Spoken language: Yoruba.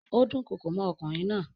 Ó dúnkokò mọ́ ọkùnrin náà.